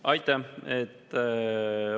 Aitäh!